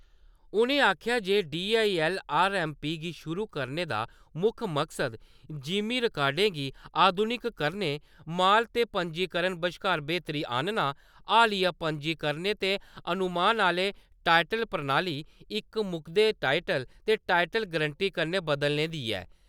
उ'नें आखेआ जे D I L R M P गी शुरू करने दा मुक्ख मकसद जिमीं रिकार्डे गी आधुनिक करने, माल ते पंजीकरण बश्कार बेह्तरी आह्नना, हालिया पंजीकरणें ते अनुमान आह्ले टाइटल प्रणाली इक मुकदे टाइटल ते टाइटल गरंटी कन्नै बदलने दी ऐ।